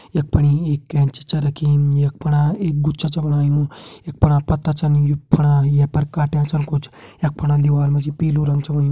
यख फणि एक कैंची छा रखीं यख फणा एक गुच्छा छ बणायु यख फणा पत्ता छन यु फणा ये पर काट्यां छन कुछ यख फणा दीवाल मा जी पीलू रंग छ होयुं।